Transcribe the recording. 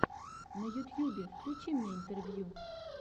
на ютьюбе включи мне интервью